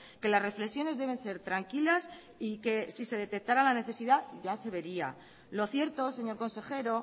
que las reflexiones deben ser tranquilas y que si se detectara la necesidad ya se vería lo cierto señor consejero